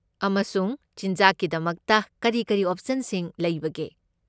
ꯑꯃꯁꯨꯡ ꯆꯤꯟꯖꯥꯛꯀꯤꯗꯃꯛꯇ ꯀꯔꯤ ꯀꯔꯤ ꯑꯣꯞꯁꯟꯁꯤꯡ ꯂꯩꯕꯒꯦ?